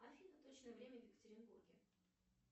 афина точное время в екатеринбурге